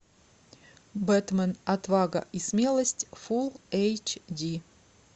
бэтмен отвага и смелость фул эйч ди